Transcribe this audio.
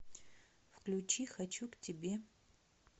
включи хочу к тебе